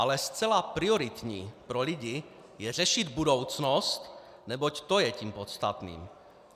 Ale zcela prioritní pro lidi je řešit budoucnost, neboť to je tím podstatným.